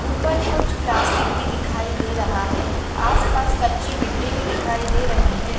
ऊपर कुछ प्लास्टिक भी दिखाई दे रहा है। आसपास कच्चे मिट्ठी भी दिखाई दे रही है।